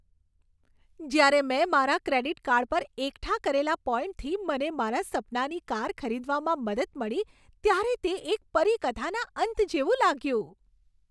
જ્યારે મેં મારા ક્રેડિટ કાર્ડ પર એકઠા કરેલા પોઈન્ટથી મને મારા સપનાની કાર ખરીદવામાં મદદ મળી ત્યારે તે એક પરીકથાના અંત જેવું લાગ્યું.